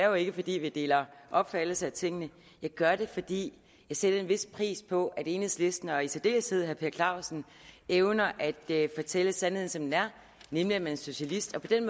jo ikke fordi vi deler opfattelse af tingene jeg gør det fordi jeg sætter en vis pris på at enhedslisten og i særdeleshed herre per clausen evner at fortælle sandheden som den er nemlig at man er socialist og på den